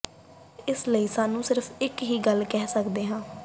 ਇਸ ਲਈ ਸਾਨੂੰ ਸਿਰਫ਼ ਇੱਕ ਹੀ ਗੱਲ ਕਹਿ ਸਕਦਾ ਹੈ